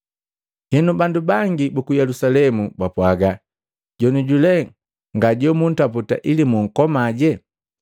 Henu, bandu bangi buku Yelusalemu bapwaaga, “Jonoju lee ngajobuntaputa ili bunkomaje?